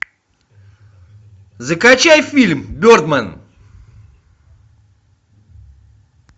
закачай фильм бердмен